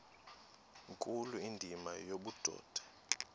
nkulu indima yobudoda